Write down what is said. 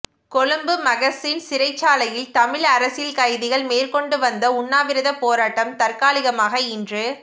Colombo Magazine சிறைச்சாலையில் தமிழ் அரசியல் கைதிகள் மேற்கொண்டு வந்த உண்ணாவிரதப் போராட்டம் தற்காலிகமாக இன்று